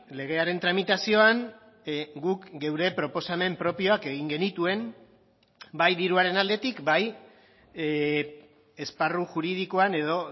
legearen tramitazioan guk geure proposamen propioak egin genituen bai diruaren aldetik bai esparru juridikoan edo